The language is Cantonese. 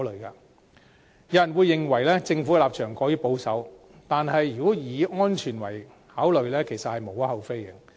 有人會認為，政府的立場過於保守，但如果以安全為考慮，其實是無可厚非的。